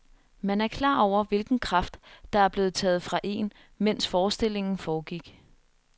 Man er klar over hvilken kraft, der er blevet taget fra én, mens forestillingen foregik.